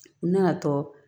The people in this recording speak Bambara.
N nana tɔ